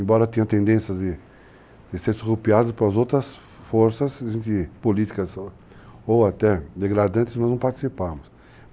Embora tenham tendências de serem surrupiadas pelas outras forças, de políticas ou até degradantes, nós não participávamos.